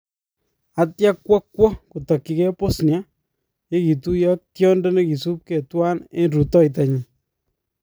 Atya kwo kwoo kotakyikee Bosnia yee kituyo ak tyondo nekisuubke twan en rutoyto nyin